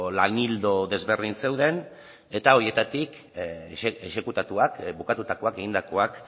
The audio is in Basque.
lan ildo desberdin zeuden eta horietatik exekutatuak bukatutakoak egindakoak